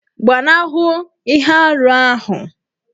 Gbanahụ ihe arụ ahụ!